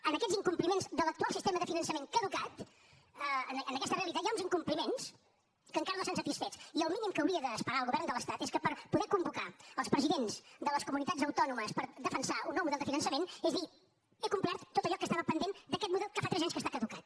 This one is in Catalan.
en aquests incompliments de l’actual sistema de finançament caducat en aquesta realitat hi ha uns incompliments que encara no estan satisfets i el mínim que hauria d’esperar el govern de l’estat és que per poder convocar els presidents de les comunitats autònomes per defensar un nou model de finançament és dir he complert tot allò que estava pendent d’aquest model que fa tres anys que està caducat